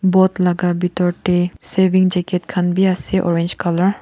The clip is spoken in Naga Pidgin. boat laga pitor te saving jacket khan bi ase orange colour .